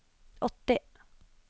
åtti